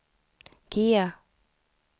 G